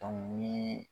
ni